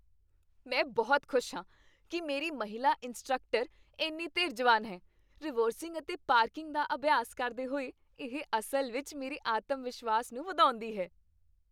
ਮੈਂ ਬਹੁਤ ਖੁਸ਼ ਹਾਂ ਕਿ ਮੇਰੀ ਮਹਿਲਾ ਇੰਸਟ੍ਰਕਟਰ ਇੰਨੀ ਧੀਰਜਵਾਨ ਹੈ, ਰਿਵਰਸਿੰਗ ਅਤੇ ਪਾਰਕਿੰਗ ਦਾ ਅਭਿਆਸ ਕਰਦੇ ਹੋਏ ਇਹ ਅਸਲ ਵਿੱਚ ਮੇਰੇ ਆਤਮ ਵਿਸ਼ਵਾਸ ਨੂੰ ਵਧਾਉਂਦੀ ਹੈ।